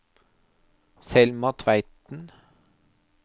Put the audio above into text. Selma Tveiten